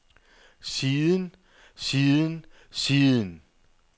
siden siden siden